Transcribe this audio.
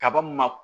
Kaba ma